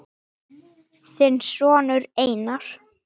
Þinn sonur Einar.